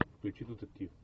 включи детектив